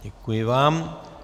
Děkuji vám.